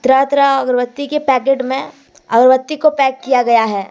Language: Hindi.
तरह तरह अगरबत्ती के पैकेट में अगरबत्ती को पैक किया गया है।